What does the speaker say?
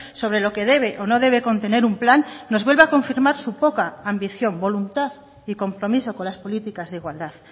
sobre lo que debe o no debe contener un plan nos vuelve a confirmar su poca ambición voluntad y compromiso con las políticas de igualdad